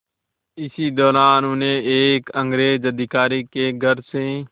इसी दौरान उन्हें एक अंग्रेज़ अधिकारी के घर से